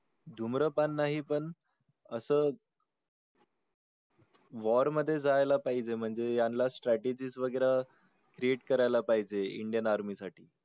धूम्रपान नाही पण असं war मध्ये जायला पाहिजे म्हणजे यांना strategies वगैरे create करायला पाहिजे Indian Army साठी